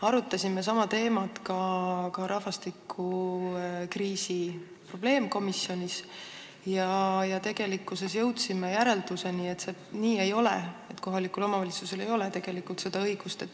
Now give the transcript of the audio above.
Arutasime sama teemat rahvastikukriisi probleemkomisjonis ja jõudsime järeldusele, et see nii ei ole: kohalikul omavalitsusel ei ole tegelikult seda õigust.